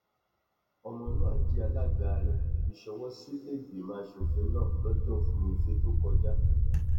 ọmọnúà jẹ alága rẹ fi ṣọwọ sílẹẹgbìmọ asòfin náà lọjọ furuufée tó kọjá